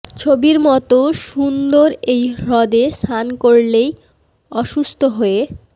ছবির মতো সুন্দর এই হ্রদে স্নান করলেই অসুস্থ হয়ে